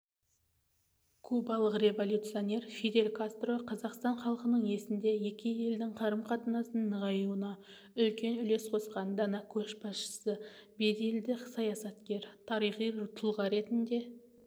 кубалық революционер фидель кастро қазақстан халқының есінде екі елдің қарым-қатынасынының нығаюына үлкен үлес қосқан дана көшбасшы беделді саясаткер тарихи тұлға ретінде